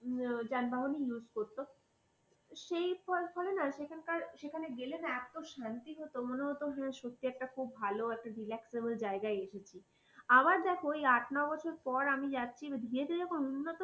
যানবাহনে use করত সেই বলে না সেখানকার সেখানে গেলে না এত শান্তি হতো, মানে মনে হতো যে একটা খুব ভালো একটা relaxable জায়গায় এসেছি আবার দেখো ওই আট নয় বছর পর আমি যাচ্ছি গিয়েছি যখন উন্নত